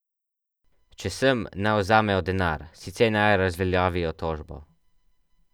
Če sem, naj vzamejo denar, sicer naj razveljavijo tožbo.